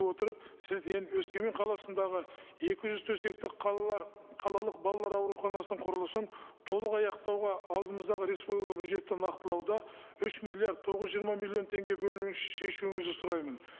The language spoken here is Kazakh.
отырып сізден өскемен қаласындағы екі жүз төсектік қалалық балалар ауруханасының құрылысын толық аяқтауға алдымыздағы республика бюджетті нақтылауда үш миллиард тоғыз жүз жиырма миллион теңге бөлінуін шешуіңізді сұраймын